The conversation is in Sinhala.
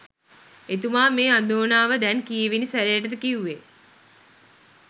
එතුමා මේ අඳෝනාව දැන් කීවෙනි සැරයටද කිව්වෙ?